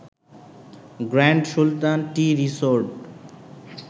grand Sultan tea resort